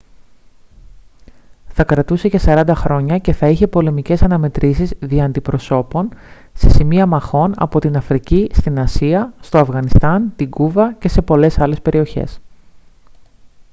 θα κρατούσε για 40 χρόνια και θα είχε πολεμικές αναμετρήσεις δια αντιπροσώπων σε σημεία μαχών από την αφρική στην ασία στο αφγανιστάν την κούβα και σε πολλές άλλες περιοχές